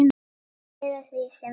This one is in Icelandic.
Eða því sem næst.